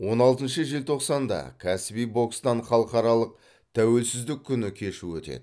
он алтыншы желтоқсанда кәсіби бокстан халықаралық тәуелсіздік күні кеші өтеді